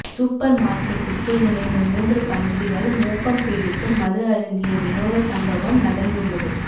super மார்க்கெட்டுக்குள் நுழைந்த மூன்று பன்றிகள் மோப்பம் பிடித்து மது அருந்திய விநோத சம்பவம் நடந்துள்ளது